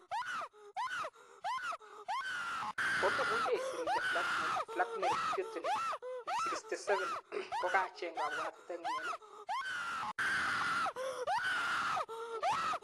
Komemuche isir ile Vladimir Putin,67, kokacheng kapwatitengyn